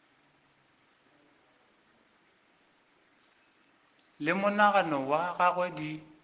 le monagano wa gagwe di